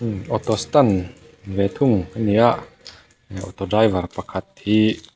auto stand ve thung a ni a auto driver pakhat hi--